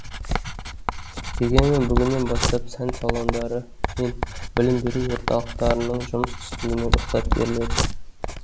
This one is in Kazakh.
дегенмен бүгіннен бастап сән салондары мен білім беру орталықтарының жұмыс істеуіне рұқсат беріледі